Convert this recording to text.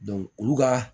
olu ka